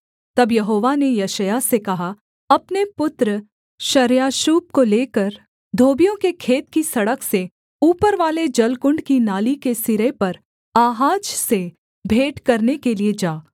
तब यहोवा ने यशायाह से कहा अपने पुत्र शार्याशूब को लेकर धोबियों के खेत की सड़क से ऊपरवाले जलकुण्ड की नाली के सिरे पर आहाज से भेंट करने के लिये जा